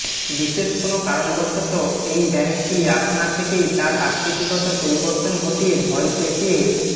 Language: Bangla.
বিশেষ কোনো কারণবশত এই ব্যাঙটি আপনা থেকেই তার অকৃতিগত পরিবর্তন ঘটিয়ে ভয় দেখিয়ে